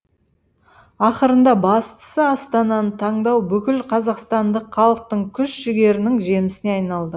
ақырында бастысы астананы таңдау бүкіл қазақстандық халықтың күш жігерінің жемісіне айналды